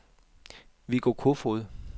Viggo Kofod